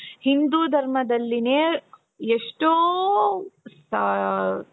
ಹಿಂದೂ ಧರ್ಮದಲ್ಲೀನೆ ಎಷ್ಟೋ ಸಾ